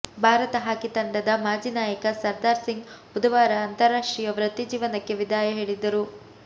Bharat hockey ತಂಡದ ಮಾಜಿ ನಾಯಕ ಸರ್ದಾರ್ ಸಿಂಗ್ ಬುಧವಾರ ಅಂತರಾಷ್ಟ್ರೀಯ ವೃತ್ತಿ ಜೀವನಕ್ಕೆ ವಿದಾಯ ಹೇಳಿದ್ದಾರೆ